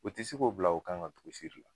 U te se k'o bila o kan ka